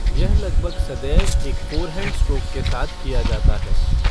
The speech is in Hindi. यह लगभग सदैव एक फ़ोरहैंड स्ट्रोक के साथ किया जाता है।